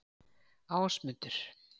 Ásmundur